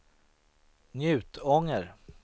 Njutånger